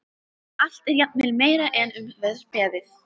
Allt er jafnvel meira en um var beðið.